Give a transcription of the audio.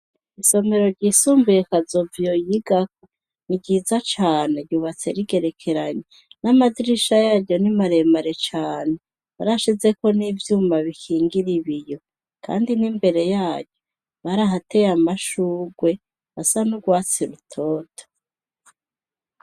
Isomero ryisumbuye kazoviyo yigao n ryiza cane yubatse rigerekeranye n'amazirisha yayo n'imaremare cane barashizeko n'ivyuma bikingira ibiyo, kandi n'imbere yayo bari ahateye amashurwe asa n'urwatsi rutota.